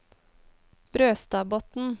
Brøstadbotn